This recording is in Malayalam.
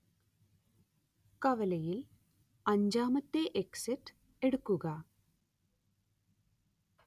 കവലയിൽ അഞ്ചാമത്തെ എക്സിറ്റ് എടുക്കുക